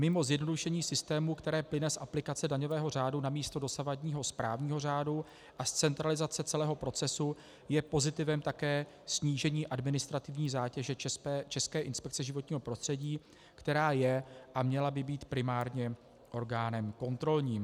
Mimo zjednodušení systému, které plyne z aplikace daňového řádu namísto dosavadního správního řádu a z centralizace celého procesu, je pozitivem také snížení administrativní zátěže České inspekce životního prostředí, která je a měla by být primárně orgánem kontrolním.